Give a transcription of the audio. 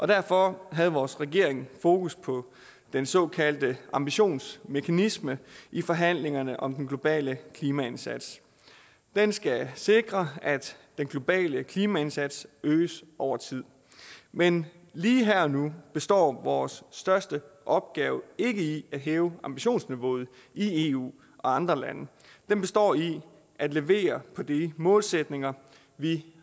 derfor havde vores regering fokus på den såkaldte ambitionsmekanisme i forhandlingerne om den globale klimaindsats den skal sikre at den globale klimaindsats øges over tid men lige her og nu består vores største opgave ikke i at hæve ambitionsniveauet i eu og andre lande den består i at levere på de målsætninger vi